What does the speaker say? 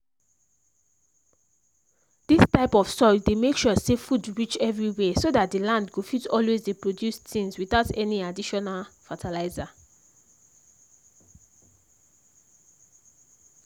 this type of soil dey make sure say food reach everywhere so that the land go fit always dey produce things without any additional fertilizer.